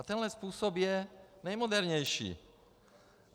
A tenhle způsob je nejmodernější.